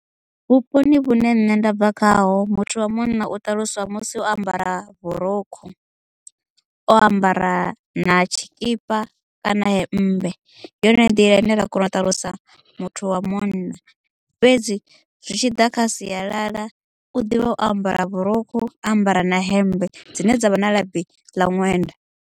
Vhuponi vhune nṋe ndabva khaho muthu wa munna u ṱaluswa musi o ambara vhurukhu o ambara na tshikipa kana hemmbe ndi yone nḓila ine ra kona u ṱalusa muthu wa munna fhedzi zwi tshi ḓa kha sialala u ḓivha u ambara vhurukhu ambara na hemmbe dzine dza vha na labi ḽa ṅwenda.